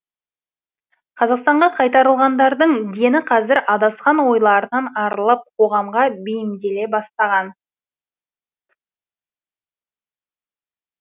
қазақстанға қайтарылғандардың дені қазір адасқан ойларынан арылып қоғамға бейімделе бастаған